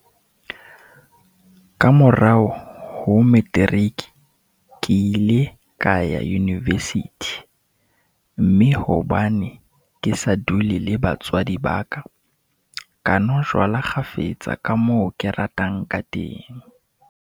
Ka morao ho materiki, ke ile ka ya univesithi, mme hobane ke sa dule le batswadi ba ka, ka nwa jwala kgafetsa ka moo ke ratang kateng.